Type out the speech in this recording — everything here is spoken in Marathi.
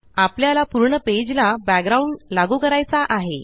आपल्याला पूर्ण पेज ला बॅकग्राउंड लागू करायचा आहे